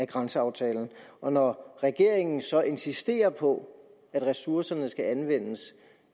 grænseaftalen og når regeringen så insisterer på at ressourcerne skal anvendes